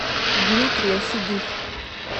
дмитрия седых